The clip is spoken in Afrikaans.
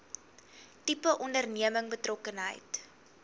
tipe onderneming betrokkenheid